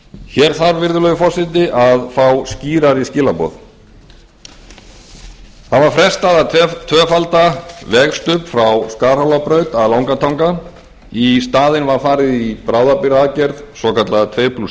hér þarf virðulegi forseti að fá skýrari skilaboð það var frestað að tvöfalda vegstubb frá skarhólabraut að langatanga í staðinn var farið í bráðabirgðaaðgerð svokallaða tvö